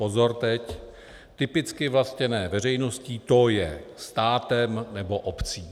Pozor teď: Typicky vlastněné veřejností, to je státem nebo obcí.